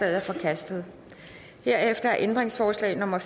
er forkastet herefter er ændringsforslag nummer